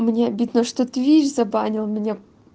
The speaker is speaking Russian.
мне обидно что твич забанил меня